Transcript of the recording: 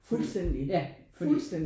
Fuldstændig fuldstændig